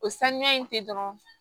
O sanuya in te dɔrɔn